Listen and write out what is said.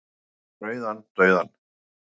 Rokkað fram í rauðan dauðann